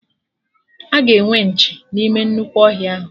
Aga enwe nchi n'ime nnukwu ọhịa ahụ